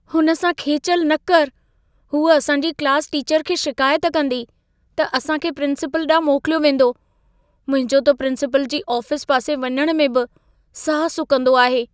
हुन सां खेचलि न करु। हूअ असांजी क्लास टीचर खे शिकायत कंदी, त असां खे प्रिंसिपल ॾांहुं मोकिलियो वेंदो। मुंहिंजो त प्रिंसिपल जी आफिस पासे वञण में बि साह सुकंदो आहे।